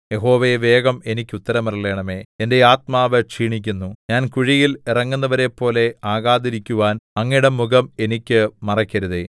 യഹോവേ വേഗം എനിക്ക് ഉത്തരമരുളണമേ എന്റെ ആത്മാവ് ക്ഷീണിക്കുന്നു ഞാൻ കുഴിയിൽ ഇറങ്ങുന്നവരെപ്പോലെ ആകാതിരിക്കുവാൻ അങ്ങയുടെ മുഖം എനിക്ക് മറയ്ക്കരുതേ